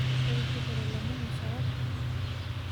Ketushukote lomon osawadi